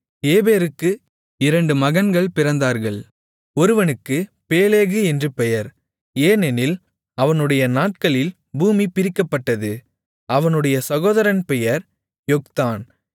ஏபேருக்கு இரண்டு மகன்கள் பிறந்தார்கள் ஒருவனுக்கு பேலேகு என்று பெயர் ஏனெனில் அவனுடைய நாட்களில் பூமி பிரிக்கப்பட்டது அவனுடைய சகோதரன் பெயர் யொக்தான்